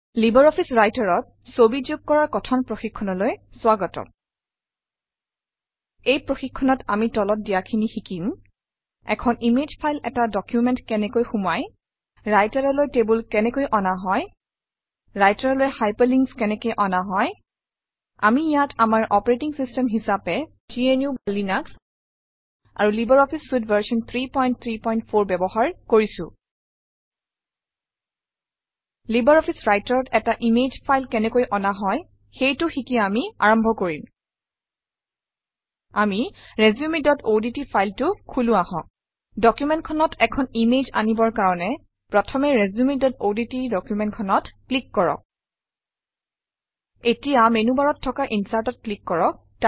Libre office Writer অত ছবি যোগ কৰাৰ কথন প্ৰশিক্ষণলৈ স্বাগতম এই প্ৰশিক্ষণত আমি তলত দিয়াখিনি শিকিম - এখন ইমেজ ফাইল এটা ডকুমেণ্টত কেনেকৈ সুমুৱাই ৰাইটাৰলৈ টেবুল কেনেকৈ অনা হয় ৰাইটাৰলৈ হাইপাৰলিংকছ কেনেকৈ অনা হয় আমি ইয়াত আমাৰ অপাৰেটিং চিষ্টেম হিচাপে gnuলিনাস আৰু লাইব্ৰঅফিছ চুইতে ভাৰ্চন 334 ব্যৱহাৰ কৰিছোঁ লাইব্ৰঅফিছ Writer অত এটা ইমেজ ফাইল কেনেকৈ অনা হয় সেইটো শিকি আমি আৰম্ভ কৰিম আমি resumeঅডট ফাইলটো খোলো আহক ডকুমেণ্টখনত এখন ইমেজ আনিবৰ কাৰণে প্ৰথমতে resumeঅডট ডকুমেণ্টখনত ক্লিক কৰক এতিয়া মেনুবাৰত থকা Insert অত ক্লিক কৰক